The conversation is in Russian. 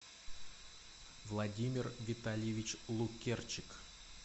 владимир витальевич лукерчик